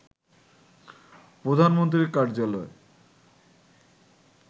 প্রধানমন্ত্রীর কার্যালয়